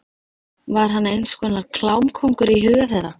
Var hann eins konar klámkóngur í huga þeirra?